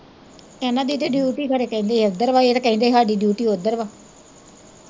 ਇੰਨਾਂ ਦੀ ਤਾਂ ਡਿਊਟੀ ਖਰੇ ਇੱਧਰ ਵਾ ਇਹ ਤਾਂ ਕਹਿੰਦੇ ਹਾਡੀ ਉੱਧਰ ਵਾ।